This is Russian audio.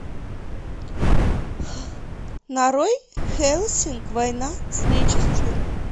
нарой хеллсинг война с нечистью